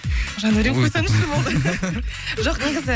жандәурен қойсаңызшы болды жоқ негізі